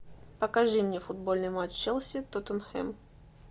покажи мне футбольный матч челси тоттенхэм